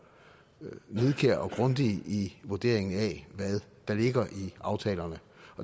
nidkære og grundige i vurderingen af hvad der ligger i aftalerne